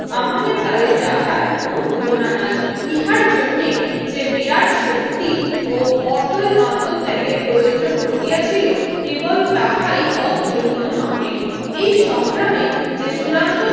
আমাদের কালে যাঁহার কোনো তুলনা নাই ইহার জন্য যে বিরাট শক্তি ও অটল আত্নত্যাগের প্রয়োজন ঘটিয়াছিল কেবল তাহাই অতুলনীয় নহে এই সংগ্রামে যে চূড়ান্ত